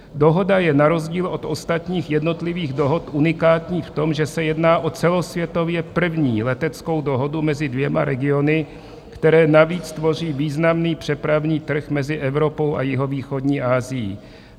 Dohoda je na rozdíl od ostatních jednotlivých dohod unikátní v tom, že se jedná o celosvětově první leteckou dohodu mezi dvěma regiony, které navíc tvoří významný přepravní trh mezi Evropou a jihovýchodní Asií.